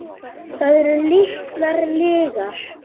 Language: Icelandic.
Það eru litlar lygar.